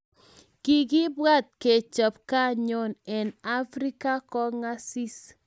kikibwat kechop kanyoo eng African Kongasis